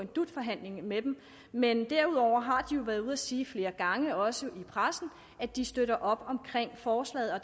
dut forhandling med dem men derudover har de jo været ude og sige flere gange også i pressen at de støtter op om forslaget og